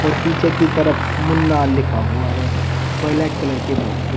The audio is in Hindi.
और पीछे की तरफ मुन्ना लिखा हुआ है ब्लैक कलर के बॉक्स पे।